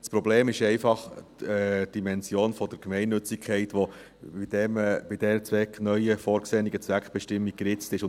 Das Problem ist einfach die Dimension der Gemeinnützigkeit, die mit dieser neu vorgesehenen Zweckbestimmung geritzt wird.